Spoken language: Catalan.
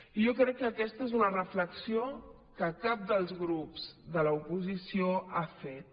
i jo crec que aquesta és una reflexió que cap dels grups de l’oposició ha fet